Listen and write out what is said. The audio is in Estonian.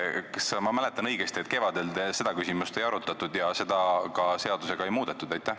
Kas ma mäletan õigesti, et kevadel seda küsimust ei arutatud ja seda ka seadusega ei muudetud?